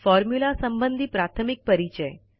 formula संबंधी प्राथमिक परिचय